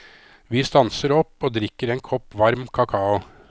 Vi stanser opp og drikker en kopp varm kakao.